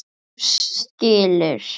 Þú skilur.